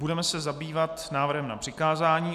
Budeme se zabývat návrhem na přikázání.